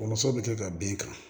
Kɔmuso bɛ kɛ ka den kan